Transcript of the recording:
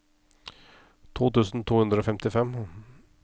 to tusen to hundre og femtifem